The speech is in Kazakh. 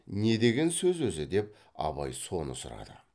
не деген сөз өзі деп абай соны сұрады